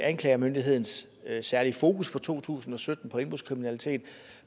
anklagemyndighedens særlige fokus på to tusind og sytten